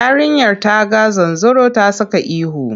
Yarinyar ta ga zanzaro ta saka ihu.